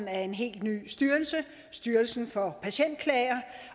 af en helt ny styrelse styrelsen for patientklager